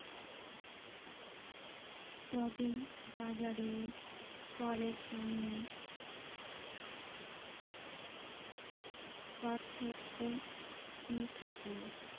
তবে বাজারের ফলের সঙ্গে পার্থক্য কি থাকলো?